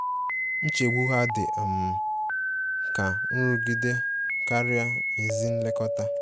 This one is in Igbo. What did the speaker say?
Nchegbu ha dị um ka nrụgide karịa ezi nlekọta.